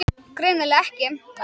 Greinilega ekki.